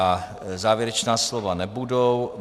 A závěrečná slova nebudou.